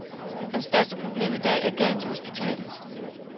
Hans største problem i dag er gælden til hospitalet.